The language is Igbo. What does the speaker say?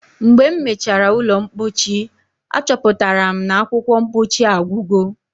Mgbe m mechara ụlọ mpochi, achọpụtara m na akwụkwọ mpochi agwugo.